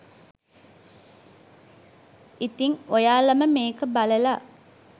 ඉතින් ඔයාලම මේක බලල